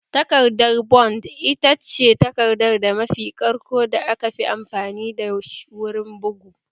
Takardar bond ita ce takarda mafi ƙarƙo da aka fi amfani da wurin bugu